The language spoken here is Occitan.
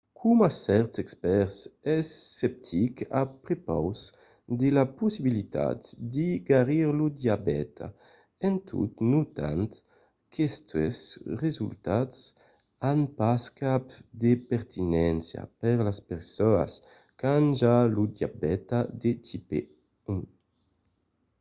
coma cèrtes expèrts es sceptic a prepaus de la possibilitat de garir lo diabèta en tot notant qu'aquestes resultats an pas cap de pertinéncia per las personas qu'an ja lo diabèta de tipe 1